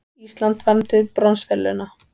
Ísland vann til bronsverðlauna